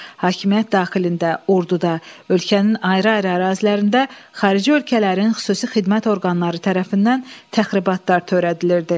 Hakimiyyət daxilində, orduda, ölkənin ayrı-ayrı ərazilərində xarici ölkələrin xüsusi xidmət orqanları tərəfindən təxribatlar törədilirdi.